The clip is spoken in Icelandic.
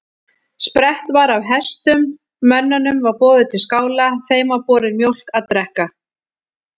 Sprett var af hestum, mönnunum var boðið til skála, þeim var borin mjólk að drekka.